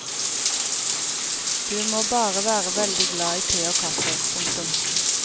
Du må bare være veldig glad i te og kaffe. punktum